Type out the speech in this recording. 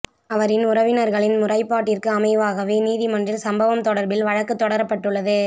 அவரின் உறவினர்களின் முறைப்பாட்டிற்கு அமைவாகவே நீதிமன்றில் சம்பவம் தொடர்பில் வழக்கு தொடரப்பட்டுள்ளது